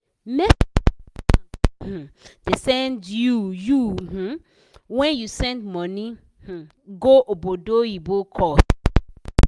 message wey bank um da send you you um when you send money um go obodoyibo cost